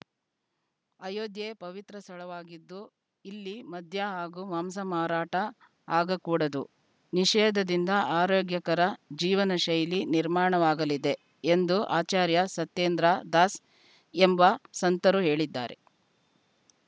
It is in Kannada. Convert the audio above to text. ಅಯೋಧ್ಯೆ ಪವಿತ್ರ ಸ್ಥಳವಾಗಿದ್ದು ಇಲ್ಲಿ ಮದ್ಯ ಹಾಗೂ ಮಾಂಸ ಮಾರಾಟ ಆಗಕೂಡದು ನಿಷೇಧದಿಂದ ಆರೋಗ್ಯಕರ ಜೀವನಶೈಲಿ ನಿರ್ಮಾಣವಾಗಲಿದೆ ಎಂದು ಆಚಾರ್ಯ ಸತ್ಯೇಂದ್ರ ದಾಸ್‌ ಎಂಬ ಸಂತರು ಹೇಳಿದ್ದಾರೆ